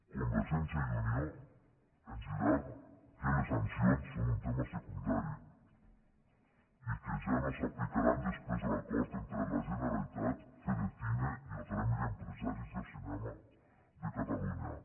convergència i unió ens dirà que les sancions són un tema secundari i que ja no s’aplicaran després de l’acord entre la generalitat fedicine i el gremi d’empresaris de cinema de catalunya